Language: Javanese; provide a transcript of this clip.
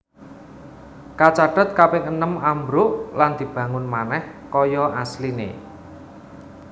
Kacathet kaping enem ambruk lan dibangun manèh kaya asline